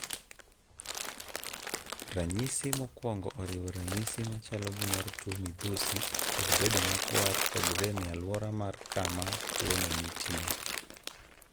Ranyisi mokwongo oriwo ranyisi machalo gi mar tuwo midhusi kod bedo makwar kod rem e alwora mar kama tuono nitie.